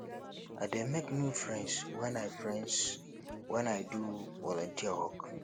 i dey make new friends wen i friends wen i do volunteer work